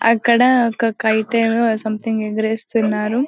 అక్కడ ఒక్క కైట్ ఏమో సంథింగ్ ఎగిరేస్తున్నారు.